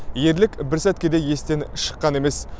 ерлік бір сәтке де естен шыққан емес